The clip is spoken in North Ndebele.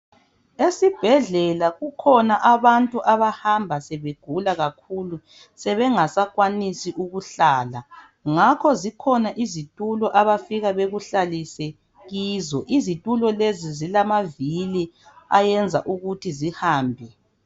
Esibhedlela kukhona abantu abahamba sebegula kakhulu sebengasakwanisi ukuhlala . Ngakho zikhona izitulo abafika bekuhlalise kizo. Izitulo lezi zilamavili ayenza ukuthi zihambe.